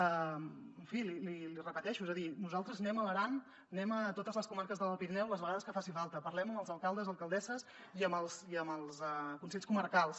en fi l’hi repeteixo és a dir nosaltres anem a l’aran anem a totes les comarques de l’alt pirineu les vegades que faci falta parlem amb els alcaldes i alcaldesses i amb els consells comarcals